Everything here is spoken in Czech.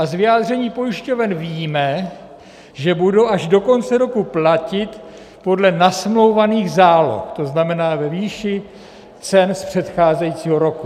A z vyjádření pojišťoven víme, že budou až do konce roku platit podle nasmlouvaných záloh, to znamená, ve výši cen z předcházejícího roku.